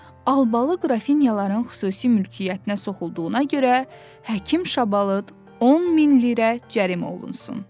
Albalı Qrafinyaların xüsusi mülkiyyətinə soxulduğuna görə Həkim Şabalıd 10 min lirə cərimə olunsun.